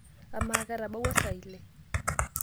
Amaa, ketabawua saa ile?